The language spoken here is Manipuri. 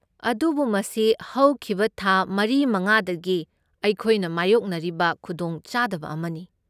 ꯑꯗꯨꯕꯨ ꯃꯁꯤ ꯍꯧꯈꯤꯕ ꯊꯥ ꯃꯔꯤ ꯃꯉꯥꯗꯒꯤ ꯑꯩꯈꯣꯏꯅ ꯃꯥꯢꯌꯣꯛꯅꯔꯤꯕ ꯈꯨꯗꯣꯡꯆꯥꯗꯕ ꯑꯃꯅꯤ꯫